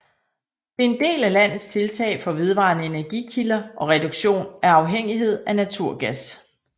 Det er en del af landets tiltag for vedvarende energikilder og reduktion af afhængighed af naturgas